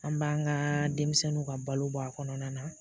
An b'an ka denmisɛnninw ka balo bɔ a kɔnɔna na